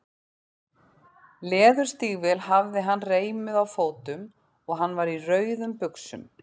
Leðurstígvél hafði hann reimuð á fótum og hann var í rauðum buxum.